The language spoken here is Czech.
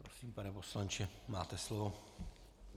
Prosím, pane poslanče, máte slovo.